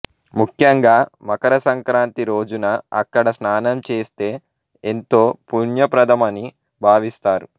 ముఖ్యంగా మకర సంక్రాంతి రోజున అక్కడ స్నానం చేస్తే ఎంతో పుణ్యప్రదమని భావిస్తారు